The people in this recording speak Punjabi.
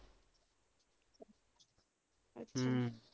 ਹਮ